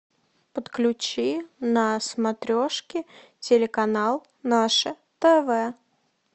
подключи на смотрешке телеканал наше тв